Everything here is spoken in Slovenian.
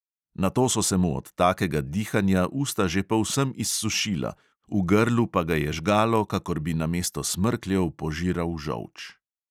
Nato so se mu od takega dihanja usta že povsem izsušila, v grlu pa ga je žgalo, kakor bi namesto smrkljev požiral žolč.